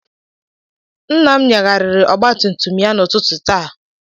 Nna m nyagharịrị ọgbatumtum ya n'ụtụtụ taa.